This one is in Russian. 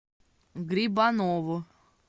грибанову